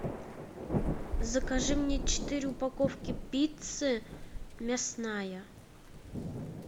закажи мне четыре упаковки пиццы мясная